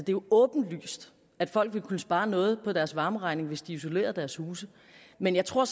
jo åbenlyst at folk vil kunne spare noget på deres varmeregning hvis de isolerede deres huse men jeg tror